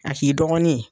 A k'i dɔgɔnin ye